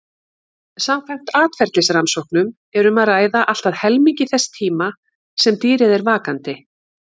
Samkvæmt atferlisrannsóknum er um að ræða allt að helmingi þess tíma sem dýrið er vakandi.